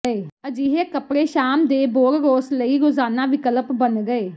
ਅਜਿਹੇ ਕੱਪੜੇ ਸ਼ਾਮ ਦੇ ਬੋਰਰੋਸ ਲਈ ਰੋਜ਼ਾਨਾ ਵਿਕਲਪ ਬਣ ਗਏ